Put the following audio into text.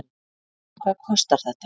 En hvað kostar þetta?